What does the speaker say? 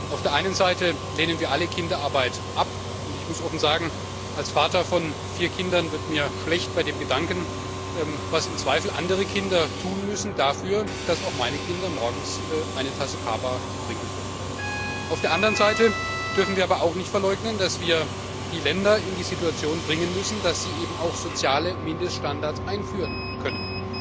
Auf der einen Seite lehnen wir alle Kinderarbeit ab und ich muss offen sagen, als Vater von vier Kindern wird mir schlecht bei dem Gedanken, was im Zweifel andere Kinder tun müssen dafür, dass auch meine Kinder morgens eine Tasse Kaba trinken dürfen. Auf der anderen Seite dürfen wir aber auch nicht verleugnen, dass wir die Länder in die Situation bringen müssen, dass sie eben auch soziale Mindeststandards einführen können.